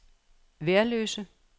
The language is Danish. Værløse